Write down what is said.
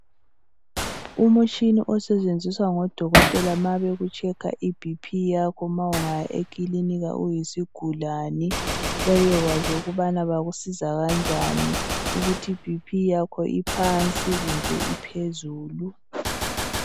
Umtshina osetshenziswa ngodokotela ukuhlola iBP nxa ungaya ekilinika uyisigulane bebekwazi ukubana bakusiza kanjani ukuthi iBP yakho iphansi kumbe iphezulu.